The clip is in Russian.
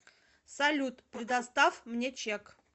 салют предостав мне чек